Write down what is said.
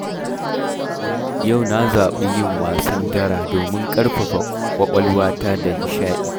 Yau na zaɓii yin wasan Dara, domin ƙarfafa ƙwaƙwalwata da nishaɗi.